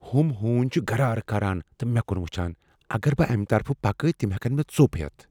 ہُم ہونۍ چھ گرار کران تہٕ مے٘ كُن وُچھان ۔ اگر بہٕ امہِ طرفہٕ پكہٕ تِم ہیكن مے٘ ژو٘پ ہیتھ ۔